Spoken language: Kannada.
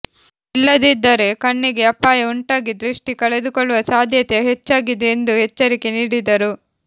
ಇಲ್ಲದಿದ್ದರೆ ಕಣ್ಣಿಗೆ ಅಪಾಯ ಉಂಟಾಗಿ ದೃಷ್ಟಿ ಕಳೆದುಕೊಳ್ಳುವ ಸಾಧ್ಯತೆ ಹೆಚ್ಚಾ ಗಿದೆ ಎಂದು ಎಚ್ವರಿಕೆ ನೀಡಿದರು